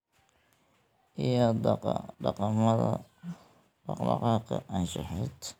iyo dhaqamada dhaq-dhaqaaqa anshaxeed.